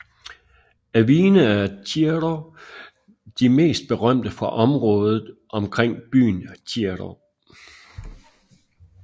Af vine er Ciro de mest berømte fra området omkring byen Ciro